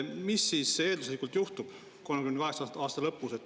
Mis siis eelduslikult 2038. aasta lõpus juhtub?